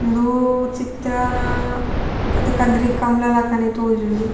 ಉಂದೂ ಚಿತ್ರನ ಅತ್ತ್ ಕದ್ರಿ ಕಂಬ್ಳ ಲಕ ತೋಜುಂಡು.